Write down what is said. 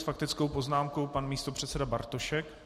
S faktickou poznámkou pan místopředseda Bartošek.